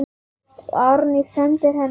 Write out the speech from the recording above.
Árný sendir henni illt auga.